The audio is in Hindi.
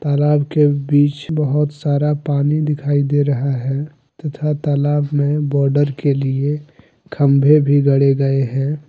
तालाब के बिच बहुत सारा पानी दिखाई दे रहा है तथा तालाब में बॉर्डर के लिए खंभे भी गड़े गए हैं।